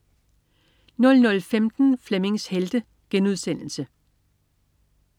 00.15 Flemmings Helte*